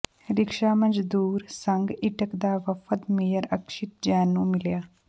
rickshaw ਮਜ਼ਦੂਰ ਸੰਘ ਇੰਟਕ ਦਾ ਵਫ਼ਦ ਮੇਅਰ ਅਕਸ਼ਿਤ ਜੈਨ ਨੂੰ ਮਿਲਿਆ